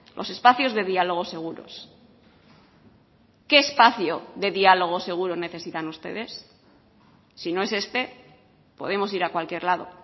los espacios de diálogo seguros qué espacio de diálogo seguro necesitan ustedes si no es este podemos ir a cualquier lado